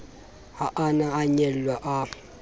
ha a na anyalwe a